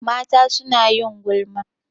Mata suna yin gulma.